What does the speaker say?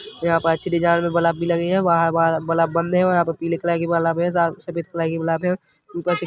यहाँ पे अच्छी डिज़ाइन में बलब भी लगी है वहाँ वहाँ बलब बंद है यहाँ पीले कलर कि बलब है सफेद कलर कि बलब ऊपर से --